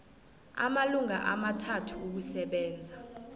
amalanga amathathu ukusebenza